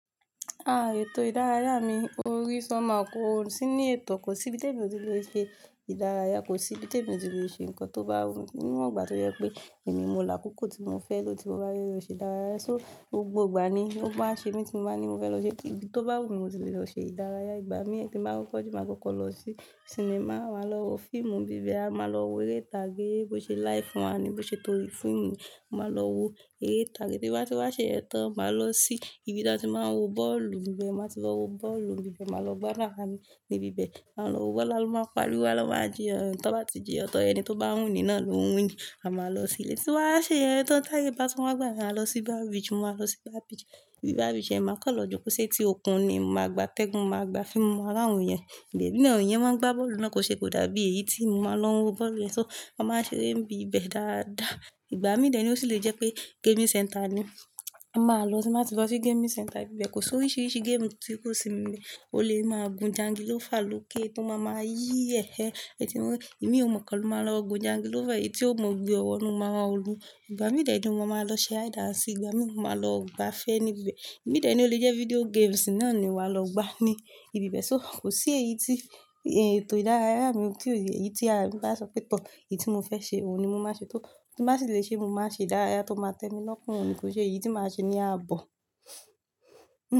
Ah! Ètò ìdárayá mi o rí ṣomehow kó sì ní ẹ̀tọ́, kò sí ibi tí èmi ò ti lè ṣe ìdárayá, kò sí ibi tí èmi ò ti lè ṣe nǹkan tó bá wù mí níwọ̀n, àti yẹ́ pé èmi mo là kúkú tí mo fẹ́ lọ, tí mo bá fẹ lọ ṣe ìdárayá, so gbogbo ìgbà ni ó máa ṣe mi tí mo bá ní mo fẹ́ lọ ṣe, kí ibi tó bá wù mí mo ti lè lọ ṣe ìdárayá ìgbà mín tí n màá kokọ́ ju máa kọ́kọ́ lọ sí cìnẹ́mà, màá lọ wo fíìmù n bíbẹ̀, à máa lọ wo eré ìtàgé bó ṣe live one ni, bó ṣe tó rí fiimu ni, màá lọ wo eré ìtàgé, ti n ba ti wá ṣe iyen tan màá lọ sí ibi tí a ti máa ń wo bọ́ọ̀lù íbẹ̀ màá ti wá wo bọ́ọ̀lù n bíbẹ̀, màá lọ gbádun ara mi níbí bẹ̀, à ń lọ wo ló máa pariwo, a ló máa jíyan tó bá ti jíyan tan ẹni tó bá wini náà ló wini, à máa lọ sílé tí bawá ṣe iyen tọ́n táyé bá tun wá à à lọ sí boya Beach, mò á lọ sí boya Beach, ibi bar Beach yẹn máa kan lọ jù kó ṣe ti òkun ni máa gba tẹ́gùn, màá gba fiímú, màá rán òun yẹn, ìbẹ̀ emí náà in n máa ń gbá bọ́ọ̀lù náà kò ṣe kò dàbí èyí tí mo máa ń lọ wo bọ́ọ̀lù yẹn so, a máa ṣere ń bi bẹ̀ dáadáa. Ìgbà mí dẹ̀ ní ó sì lè jẹ́ pé gaming center ni, máa lọ tín bàti lo sí gaming center ibẹ̀ kò sí oríṣiríṣi game tí kò sí níbẹ̀, o lè máa gun jangilófà lọ́kè tó máa ma yí ẹ̀, èyí tí mo ìmí ò mọ̀ kán lọ máa lọ gun jangilófà, èyí tí ò mọn gbé o wọ́nu mo máa oru, ìgbà mí dẹ̀ ni mo máa lọ ṣe híde and seek i, ìgbà mí ni mo máa lọ gbá afe ni bibẹ̀, ìgbà ní dẹ̀ ni ó lè jẹ́ vídíò games náà ni wa lọ gbá ní ibi bẹ̀, so kò sí èyí tí ètò ìdárayá mi tí ò yẹ, èyí tí a bá sọ pé tọ́, èyí tí mo fẹ́ ṣe òun ni mo máa ṣe, tó tin bá sì lè ṣe mo máa ṣe ìdárayá tó máa tẹ́mi lọ́kọ̀n, kò ṣe èyí tí màá ṣe ni a bọ̀.